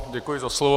Děkuji za slovo.